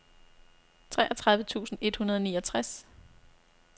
treogtredive tusind et hundrede og niogtres